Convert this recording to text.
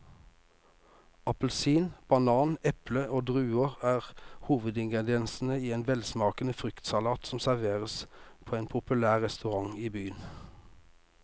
Appelsin, banan, eple og druer er hovedingredienser i en velsmakende fruktsalat som serveres på en populær restaurant i byen.